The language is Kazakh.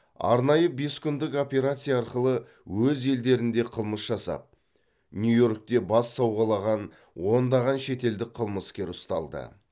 арнайы бес күндік операция арқылы өз елдерінде қылмыс жасап нью йоркте бас сауғалаған ондаған шетелдік қылмыскер ұсталды